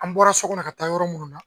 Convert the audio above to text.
An bɔra sokɔnɔ ka taa yɔrɔ munnu na.